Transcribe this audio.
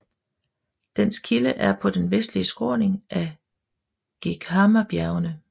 Dens kilde er på den vestlige skråning af Geghamabjergene